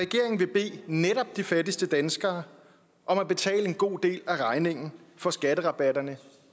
netop de fattigste danskere om at betale en god del af regningen for skatterabatterne